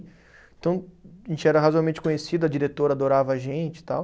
Então, a gente era razoavelmente conhecido, a diretora adorava a gente e tal.